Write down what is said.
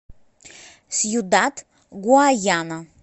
сьюдад гуаяна